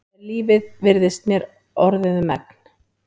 Er lífið virðist mér orðið um megn.